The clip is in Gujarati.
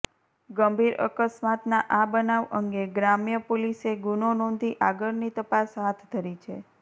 ગંભીર અકસ્માતના આ બનાવ અંગે ગ્રામ્ય પોલીસે ગુનો નોંધી આગળની તપાસ હાથ ધરી છે